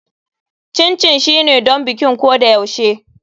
Chin chin shine don bikin ko da yaushe.